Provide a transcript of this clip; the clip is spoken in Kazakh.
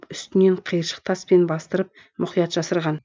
үстінен қиыршық таспен бастырып мұқият жасырған